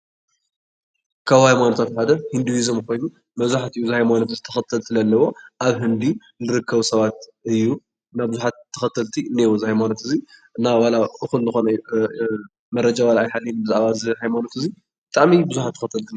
ካብ ሃይማኖታት ሓደ ሂንዱዝም ኮይኑ መብዛሕትኡ ግዜ ተከተልቲ ዘለውዎ ኣብ ህንዲ ዝርከቡ ሰባት እዩ፡፡ እና ብዙሓት ተከተልቲ ኣለውዎ እዚ ሃይማኖት እዚ እና መረጃ ኣይሃልወኒ ብዙሓት ተከተልቲ አለውዎ፡፡